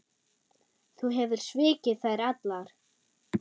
Þú hefur svikið þær allar.